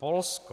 Polsko.